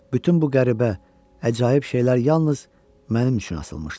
Bütün bu qəribə, əcaib şeylər yalnız mənim üçün asılmışdı.